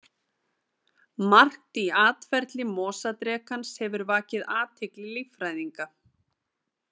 Margt í atferli mosadrekans hefur vakið athygli líffræðinga.